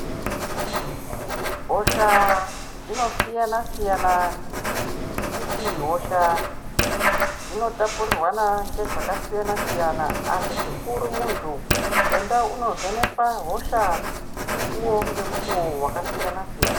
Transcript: Hosha dzino siyana siyana ngekuti hosha dzino tapurirwana ngezvaka siyana siyana asi chikuru muntu enda uno vheneka hosha mukuwo nge mukuwo waka siyana siyana.